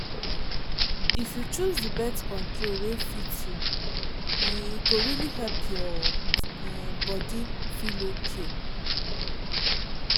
if you choose the birth control wey fit you um go really help your um body feel okay.